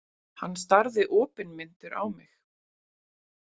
Hann starði opinmynntur á mig.